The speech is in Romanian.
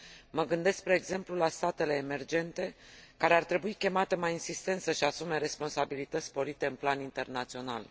Mă gândesc, spre exemplu, la statele emergente, care ar trebui chemate mai insistent să își asume responsabilități sporite în plan internațional.